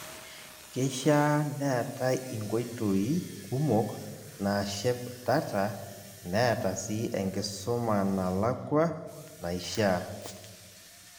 Keishaa neetai inkoitoi kumok naashep data neeta si enkisumanalakua naishaa .